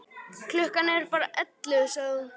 Klukkan er bara ellefu, sagði hún.